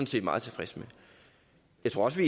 set meget tilfreds med jeg tror også